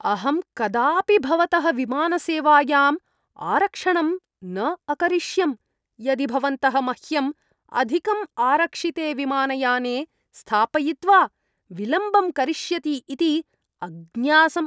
अहं कदापि भवतः विमानसेवायाम् आरक्षणं न अकरिष्यम् यदि भवन्तः मह्यं अधिकम् आरक्षिते विमानयाने स्थापयित्वा विलम्बं करिष्यति इति अज्ञासम्।